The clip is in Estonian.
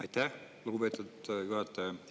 Aitäh, lugupeetud juhataja!